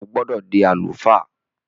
O gbọdọ di àlùfáà!